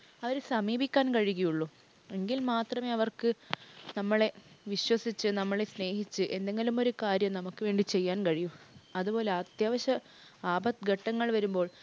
അവരെ സമീപിക്കാൻ കഴിയുകയുള്ളു. എങ്കിൽ മാത്രമേ അവർക്ക് നമ്മളെ വിശ്വസിച്ച് നമ്മളെ സ്നേഹിച്ച് എന്തെങ്കിലും ഒരു കാര്യം നമുക്ക് വേണ്ടി ചെയ്യാൻ കഴിയു. അതുപോലെ അത്യാവശ്യ ആപത്ഘട്ടങ്ങൾ വരുമ്പോൾ